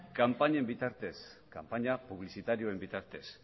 kanpainen bitartez kanpaina publizitarioen bitartez